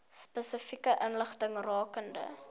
spesifieke inligting rakende